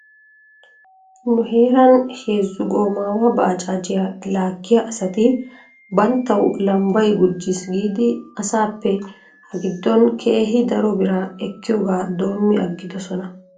Nu heeran heezu goomaawa baajaajiyaa laagiya asati banttaw lambbay gujjis giidi asaappe hagiddon keehi daro biraa ekkiyoogaa doomi aggidosona .